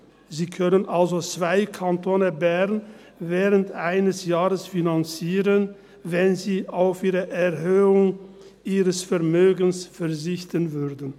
Sie könnten also während eines Jahres zwei Kantone Bern finanzieren, wenn sie auf die Erhöhung ihres Vermögens verzichten würden.